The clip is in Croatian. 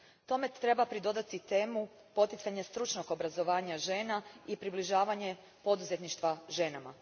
Tome treba pridodati temu poticanja stručnog obrazovanja žena i približavanja poduzetništva ženama.